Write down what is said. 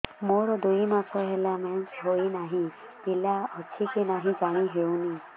ମୋର ଦୁଇ ମାସ ହେଲା ମେନ୍ସେସ ହୋଇ ନାହିଁ ପିଲା ଅଛି କି ନାହିଁ ଜାଣି ହେଉନି